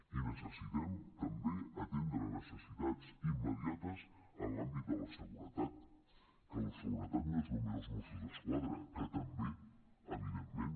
i necessitem també atendre necessitats immediates en l’àmbit de la seguretat que la seguretat no són només els mossos d’esquadra que també evidentment